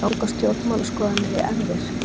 Ganga stjórnmálaskoðanir í erfðir?